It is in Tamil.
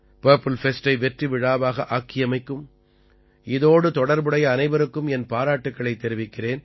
பர்ப்பில் ஃபெஸ்டை வெற்றிவிழாவாக ஆக்கியமைக்கும் இதோடு தொடர்புடைய அனைவருக்கும் என் பாராட்டுக்களைத் தெரிவிக்கிறேன்